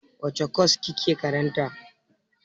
Wace kwas kike karanta?